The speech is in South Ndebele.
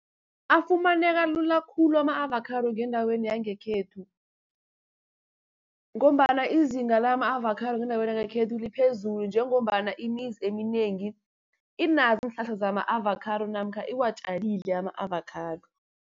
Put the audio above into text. Afumaneka lula khulu ama-avakhado ngendaweni yangekhethu, ngombana izinga lama-avakhado ngendaweni yangekhethu liphezulu, njengombana imizi eminengi inazo iinhlahla zama-avakhado, namkha iwatjalile ama-avakhado.